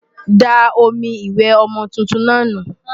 Da omi ìwẹ̀ ọmọ tuntun náà nù!